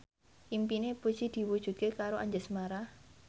impine Puji diwujudke karo Anjasmara